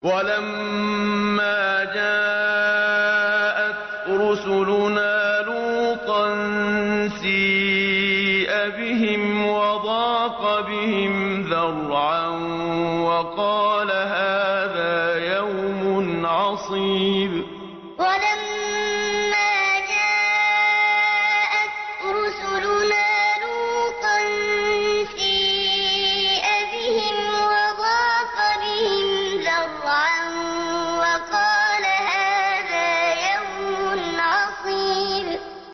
وَلَمَّا جَاءَتْ رُسُلُنَا لُوطًا سِيءَ بِهِمْ وَضَاقَ بِهِمْ ذَرْعًا وَقَالَ هَٰذَا يَوْمٌ عَصِيبٌ وَلَمَّا جَاءَتْ رُسُلُنَا لُوطًا سِيءَ بِهِمْ وَضَاقَ بِهِمْ ذَرْعًا وَقَالَ هَٰذَا يَوْمٌ عَصِيبٌ